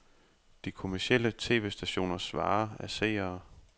De kommercielle tv-stationers vare er seere.